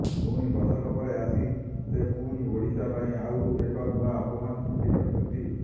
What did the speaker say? ପୁଣି ବର୍ଷକ ପରେ ଆସି ସେ ପୁଣି ଓଡିଶା ପାଇଁ ଆଉ ଏକ ନୂଆ ଅପମାନ ସୃଷ୍ଟି କରିଛନ୍ତି